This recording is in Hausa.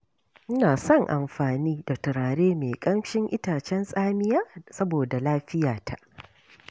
Ina son amfani da turare mai ƙamshin itacen tsamiya saboda lafiyata.